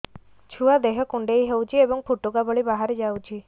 ଛୁଆ ଦେହ କୁଣ୍ଡେଇ ହଉଛି ଏବଂ ଫୁଟୁକା ଭଳି ବାହାରିଯାଉଛି